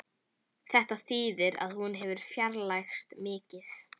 Þetta þýðir að hún hefur fjarlægst mikið